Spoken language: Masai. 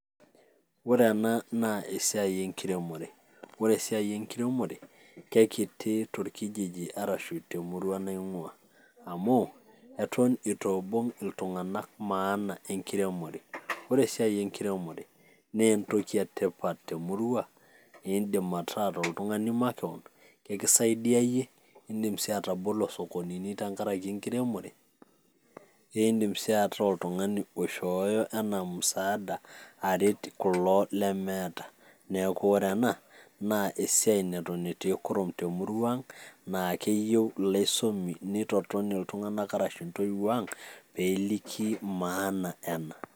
Ore ena naa esiai enkiremore, ore esiai enkiremore keikiti torkijiji arasu temurua nang'uaa amu eton eitu ibung' iltung'ana maana enkiremore. Ore esiai enkiremore naa entoki etipat temurua, niindim ataa toltung'ani makewon. nikisaidia iyie, idim sii atabolo sokonini tenkaraki enkiremore, naa indim sii ataa oltung'ani oishooyo anaa musaada aret kulo lemeeta. Neeku ore ena naa esiai neton etii kuum te murua ang. neeku keyieu ilaisumak, nitoton iltunganak ashu ntoiwuo ang' pee eliki maana ena.